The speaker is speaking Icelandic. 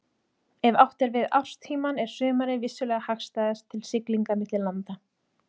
Ef átt er við árstímann er sumarið vissulega hagstæðast til siglinga milli landa.